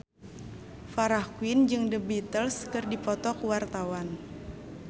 Farah Quinn jeung The Beatles keur dipoto ku wartawan